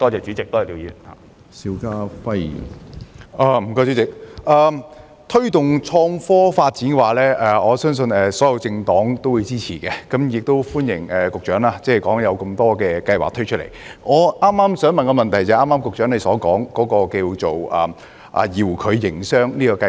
主席，我相信所有政黨皆支持推動創科發展，我亦對局長剛才列舉的多項計劃表示歡迎，而我的補充質詢正是有關局長剛才提到的遙距營商計劃。